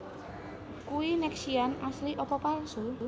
Kui Nexian asli opo palsu?